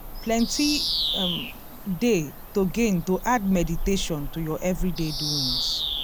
plenty um dey to gain to add meditation to ur everyday doings.